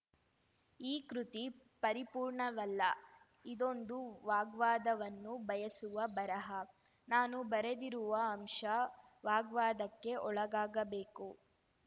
ಈ ಕೃತಿ ಪರಿಪೂರ್ಣವಲ್ಲ ಇದೊಂದು ವಾಗ್ವಾದವನ್ನು ಬಯಸುವ ಬರಹ ನಾನು ಬರೆದಿರುವ ಅಂಶ ವಾಗ್ವಾದಕ್ಕೆ ಒಳಗಾಗಬೇಕು